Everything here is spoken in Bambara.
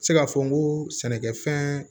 Se ka fɔ n ko sɛnɛkɛfɛn